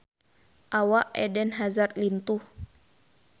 Awak Eden Hazard lintuh